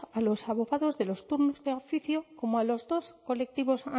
a los abogados de los turnos de oficio como a los dos colectivos